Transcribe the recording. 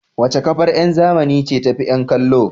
Wace kafar yada zumunci ce tafi yan kallo?